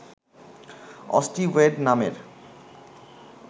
osteoid নামের